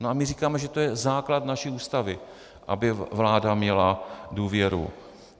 No a my říkáme, že to je základ naší Ústavy, aby vláda měla důvěru.